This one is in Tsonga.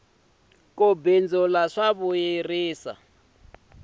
ku bindzula swa vuyerisa